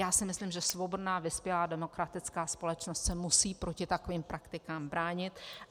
Já si myslím, že svobodná vyspělá demokratická společnost se musí proti takovým praktikám bránit.